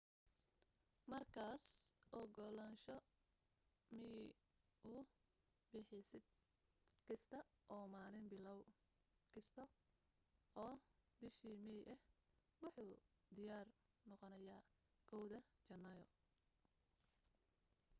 markaas ogolaansho miyi u bixiseed kasta oo maalin bilow kasta oo bisha may ah wuxu diyaar noqonayaa 1 da janaayo